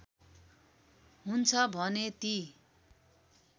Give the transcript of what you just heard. हुन्छ भने ती